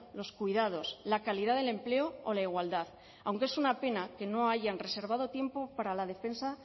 los cuidados la calidad del empleo o la igualdad aunque es una pena que no hayan reservado tiempo para la defensa